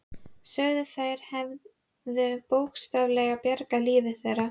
Sögðu að þær hefðu bókstaflega bjargað lífi þeirra.